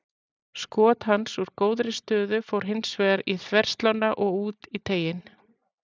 Skot hans úr góðri stöðu fór hins vegar í þverslánna og út í teiginn.